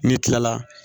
N'i kila la